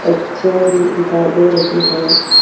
एक चेयर भी दिखाई दे रही हैं।